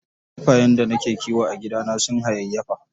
Kifayen da nake kiwo a gidana sun hayayyafa.